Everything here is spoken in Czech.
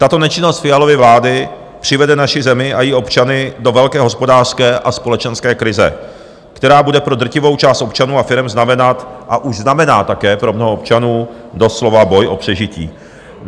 Tato nečinnost Fialovy vlády přivede naši zemi a její občany do velké hospodářské a společenské krize, která bude pro drtivou část občanů a firem znamenat, a už znamená také pro mnoho občanů, doslova boj o přežití.